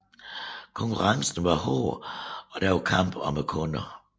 Konkurrencen var hård og der var kamp om kunderne